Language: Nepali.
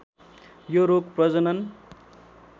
यो रोग प्रजनन